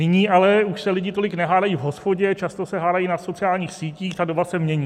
Nyní ale už se lidi tolik nehádají v hospodě, často se hádají na sociálních sítích a doba se mění.